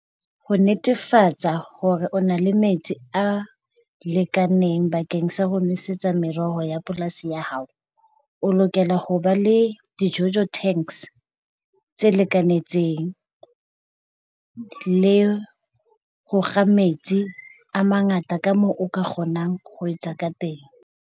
Ho netefatsa hore o na le metsi a lekaneng bakeng sa ho nwesetsa mereho ya polasi ya hao, o lokela ho ba le di-jojo tanks tse le kanentseng le ho kga metsi a mangata ka moo o ka kgonang ho etsa ka teng.